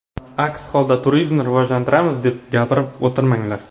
Aks holda turizmni rivojlantiramiz deb gapirib o‘tirmanglar.